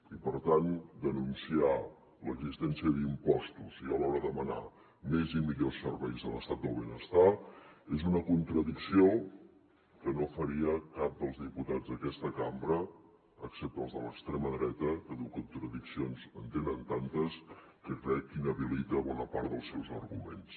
i per tant denunciar l’existència d’impostos i alhora demanar més i millors serveis a l’estat del benestar és una contradicció que no faria cap dels diputats d’aquesta cambra excepte els de l’extrema dreta que de contradiccions en tenen tantes que crec que inhabilita bona part dels seus arguments